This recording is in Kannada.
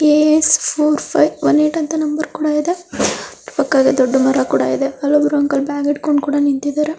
AS one four five one eight ಅಂತ ಪಕ್ಕದಲ್ಲಿ ದೊಡ್ಡಾ ಮರ ಕೂಡಾ ಇದೆ ಅಲ್ಲಿ ಒಬ್ಬರು ಹಂಕಲ್ ಬ್ಯಾಗ್ ಇಡಕೊಂಡ ನಿಂತಿದ್ದಾರೆ.